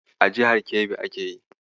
A jihar Kebbi ake yi.